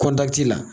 Kɔnti la